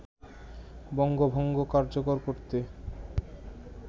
বঙ্গভঙ্গ কার্যকর করতে